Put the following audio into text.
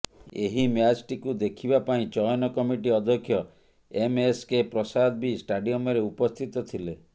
ଏହି ମ୍ୟାଚଟିକୁ ଦେଖିବା ପାଇଁ ଚୟନ କମିଟି ଅଧ୍ୟକ୍ଷ ଏମଏସକେ ପ୍ରସାଦ ବି ଷ୍ଟାଡିୟମରେ ଉପସ୍ଥିତ ଥିଲେ